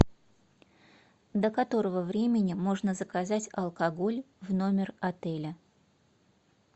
до которого времени можно заказать алкоголь в номер отеля